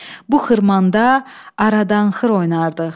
Bu xırmanda aradan xır oynardıq.